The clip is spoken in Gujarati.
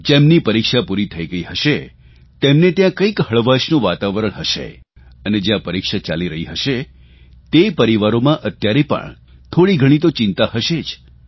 જેમની પરીક્ષા પૂરી થઇ ગઇ હશે તેમને ત્યાં કંઇક હળવાશનું વાતાવરણ હશે અને જયાં પરીક્ષા ચાલી રહી હશે તે પરિવારોમાં અત્યારે પણ થોડીઘણી તો ચિંતા હશે જ